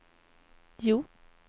Hjo